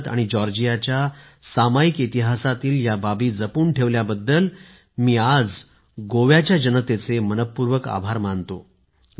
भारत आणि जॉर्जियाचा सामायिक इतिहासातील या बाबी जपून ठेवल्याबद्दल मी आज गोव्याच्या जनतेचे मनः पूर्वक आभार मानतो